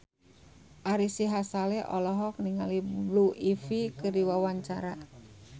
Ari Sihasale olohok ningali Blue Ivy keur diwawancara